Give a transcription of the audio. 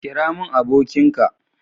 kira mun abokin ka